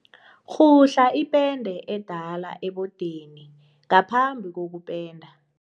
Rhuhla ipende edala ebodeni ngaphambi kokupenda.